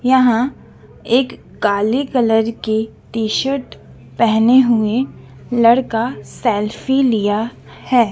यहां एक काले कलर के टी शर्ट पहने हुए लड़का सेल्फी लिया है।